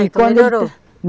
Melhorou?